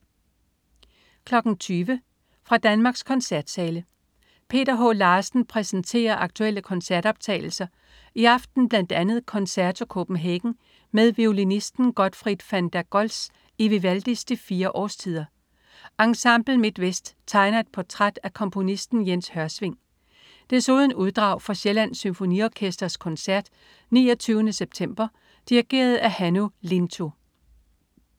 20.00 Fra Danmarks koncertsale. Peter H. Larsen præsenterer aktuelle koncertoptagelser, i aften bl. a. Concerto Copenhagen med violinsten Gottfried van der Goltz i Vivaldis "De fire Årstider". Ensemble MidtVest tegner et portræt af komponisten Jens Hørsving. Desuden uddrag fra Sjællands Symfoniorkesters koncert 29. september dirigeret af Hannu Lintu